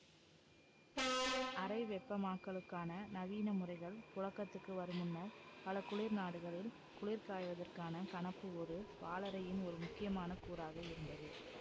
அறை வெப்பமாக்கலுக்கான நவீன முறைகள் புழக்கத்துக்கு வருமுன்னர் பல குளிர் நாடுகளில் குளிர்காய்வதற்கான கணப்பு ஒரு வாழறையின் ஒரு முக்கியமான கூறாக இருந்தது